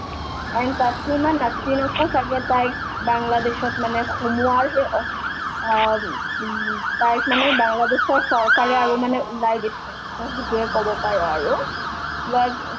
and Taslima নাছৰিনকো ছাগে তাইক বাংলাদেশত মানে সোমোৱাৰ সেই অ অ উম উম তাইক মানে বাংলাদেশৰ চৰকাৰে আৰু মানে ওলাই দিছে তেওঁ সেইতোয়ে ক'ব পাৰা আৰু ইয়াৰ